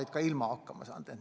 Oleme ka ilma hakkama saanud.